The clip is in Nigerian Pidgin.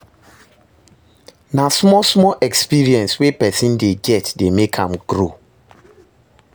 Na small small experience wey person dey get dey make am grow